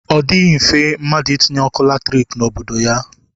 Ọ dịghị mfe mmadụ itinye ọkụ latriki n'obodo ya